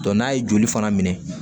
n'a ye joli fana minɛ